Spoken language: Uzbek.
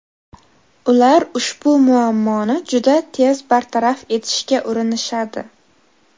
Ular ushbu muammoni juda tez bartaraf etishga urinishadi.